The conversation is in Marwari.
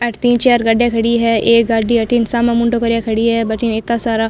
अठे तीन चार गाड़िया खड़ी है एक गाड़ी अठीन सामने मुंडो करिया खड़ी है भठीन इता सारा --